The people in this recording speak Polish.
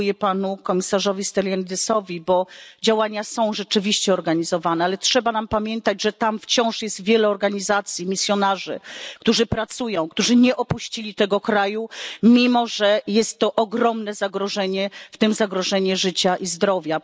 Dziękuję panu komisarzowi Stylianidesowi, bo działania są rzeczywiście organizowane, ale trzeba pamiętać, że tam wciąż jest wiele organizacji, misjonarzy, którzy pracują, którzy nie opuścili tego kraju, mimo że jest to ogromne zagrożenie, w tym zagrożenie życia i zdrowia.